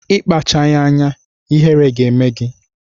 Ị kpachaghị anya, ihere ga-eme gị!